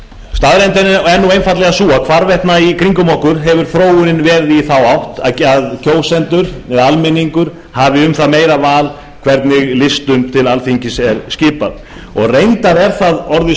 staðreyndin er einfaldlega sú að hvarvetna í kringum okkur hefur þróunin verið í þá átt að kjósendur eða almenningur hafi meira val um það hvernig listum til alþingis er skipað reyndar er það orðið